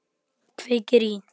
Kveikir í.